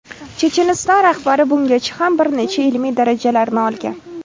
Checheniston rahbari bungacha ham bir necha ilmiy darajalarni olgan.